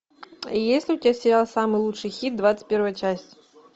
есть ли у тебя сериал самый лучший хит двадцать первая часть